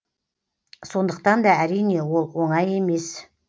сондықтан да әрине ол оңай емес